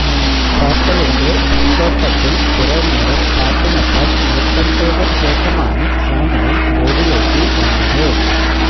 ഹോട്ടലിന്റെ പൂന്തോട്ടത്തില് കുറേ നേരം പാട്ടിനൊപ്പം നൃത്തംചെയ്ത ശേഷമാണ് സാമുവല് റോഡിലേക്ക് വന്നത്